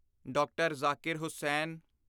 D R. Zakir Hussain